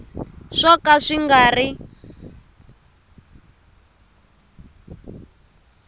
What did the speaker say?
swo ka swi nga ri